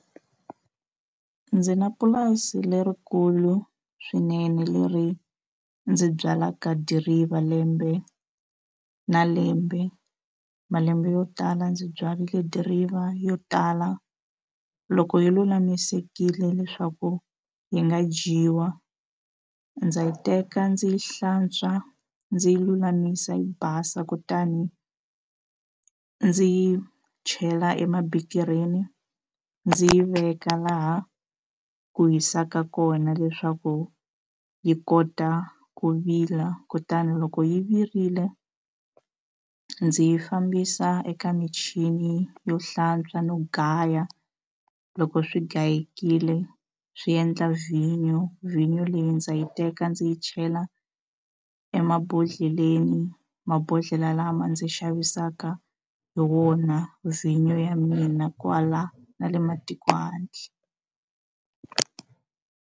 Ndzi na lerikulu swinene leri ndzi byalaka dirivha lembe na lembe malembe yo tala ndzi byarile dirivha yo tala loko yi lulamisekile leswaku yi nga dyiwa ndza yi teka ndzi hlantswa ndzi lulamisa yi basa kutani ndzi yi chela emabikirini ndzi yi veka laha ku hisaka kona leswaku yi kota ku vila kutani loko yi virile ndzi yi fambisa eka michini yo hlantswa no gaya loko swi gayekile swi endla vhinyo vhinyo leyi ndza yi teka ndzi yi chela emabodlheleni mabodlhela lama ndzi xavisaka hi wona vhinyo ya mina kwala na le matiko handle.